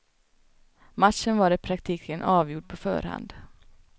Matchen var i praktiken avgjord på förhand.